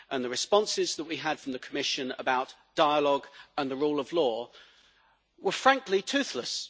The responses that we had from the Commission about dialogue and the rule of law were, frankly, toothless.